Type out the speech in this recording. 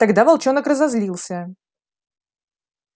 тогда волчонок разозлился